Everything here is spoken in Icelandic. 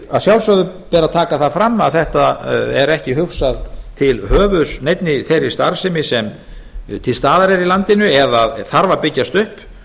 að sjálfsögðu ber að taka það fram að þetta er ekki hugsað til höfuðs neinni þeirri starfsemi til staðar er í landi eða þarf að byggjast upp